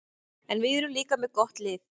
En við erum líka með gott lið.